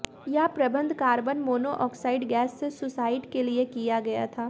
यह प्रबंध carbon monoxide gas से सुसाइड के लिए किया गया था